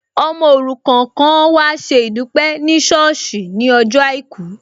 Ọmọ òrukàn kan an wá ṣe ìdúpẹ́ ní ṣọ́ọ̀sì ní ọjọ́ àìkú